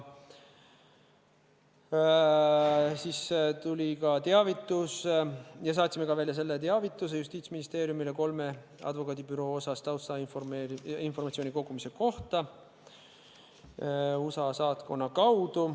Siis tuli ka teavitus ja me saatsime Justiitsministeeriumile selle teavituse kolme advokaadibüroo taustainformatsiooni kogumise kohta USA saatkonna kaudu.